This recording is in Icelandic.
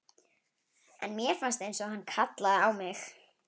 En mér fannst einsog hann kallaði á mig.